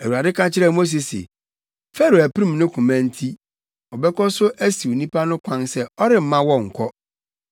Awurade ka kyerɛɛ Mose se, “Farao apirim ne koma nti, ɔbɛkɔ so asiw nnipa no kwan sɛ ɔremma wɔnkɔ.